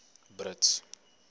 brits